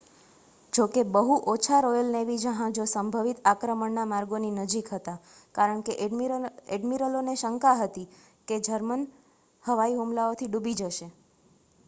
જોકે બહુ ઓછા રૉયલ નેવી જહાજો સંભવિત આક્રમણના માર્ગોની નજીક હતાં કારણ કે ઍડ્મિરલોને શંકા હતી કે તે જર્મન હવાઈ હુમલાઓથી ડૂબી જશે